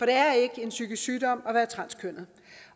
er ikke en psykisk sygdom at være transkønnet